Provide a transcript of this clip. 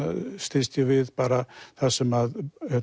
styðst ég við bara það sem